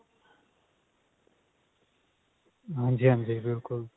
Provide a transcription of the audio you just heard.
ਹਾਂਜੀ ਹਾਂਜੀ ਬਿਲਕੁਲ